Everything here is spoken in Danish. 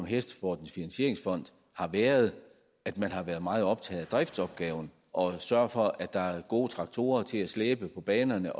hestesportens finansieringsfond har været at man har været meget optaget af driftsopgaven og sørget for at der er gode traktorer til at slæbe på banerne